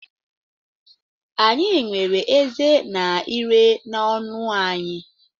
Anyị nwere ezé na ire n’ọnụ anyị.